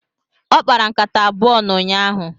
Ọ kpara nkata abụọ n'ụnyaahụ.